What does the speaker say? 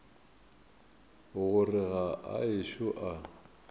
gore ga a ešo a